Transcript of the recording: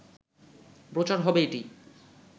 প্রচার হবে এটি